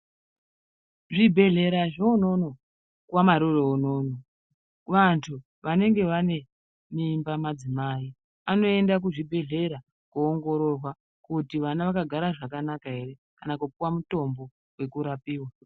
Zvibhedhlera zveunono kwamaroro unono, vantu vanenge vane mimba madzimai anoenda kuzvibhadhlera koongororwa kuti vana vakagara zvakanaka ere kana kupuwa mutombo yekurapiwa